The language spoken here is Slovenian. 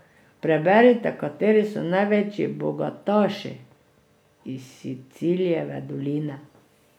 Preberite, kateri so največji bogataši iz Silicijeve doline.